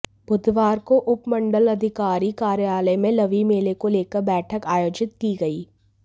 बुधवार को उपमंडलाधिकारी कार्यालय में लवी मेले को लेकर बैठक आयोजित की गई